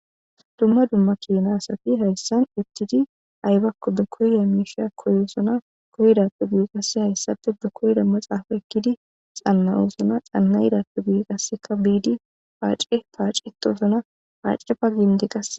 dumma dumma kinasafi hayssan ittidi aybakko be koyya miisha koyosona koydappe gui qasse hayssape be koyda maxaafa ekkidi xanna7usona xanna yidappe gu qasseka biidi paace paacitoosona haacefa ginde qase